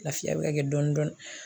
Lafiya bɛ ka kɛ dɔn dɔɔni